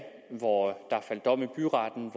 hvor der faldt dom i byretten